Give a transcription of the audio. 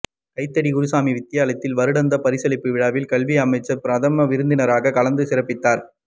கைதடி குருசாமி வித்தியாலயத்தின் வருடாந்த பரிசளிப்பு விழாவில் கல்வி அமைச்சர் பிரதம விருந்தினராக கலந்துசிறப்பித்தார்